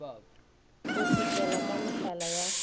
o šitlela ka mehlala ya